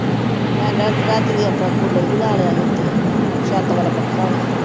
ਮੈਂ ਤਾਂ ਰਾਤੀਂ ਕੂਲਰ ਵੀ ਲਾ ਲਿਆ ਸੀ ਉਤੇ। ਛੱਤ ਆਲਾ ਪੱਖਾ ਵੀ।